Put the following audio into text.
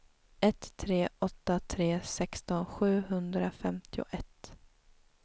ett tre åtta tre sexton sjuhundrafemtioett